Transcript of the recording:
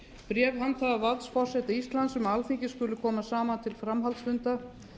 bréf handhafa valds forseta íslands um að alþingi skuli koma saman til framhaldsfunda